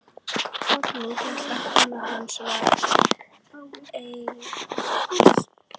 Oddný hét kona hans og var Einarsdóttir.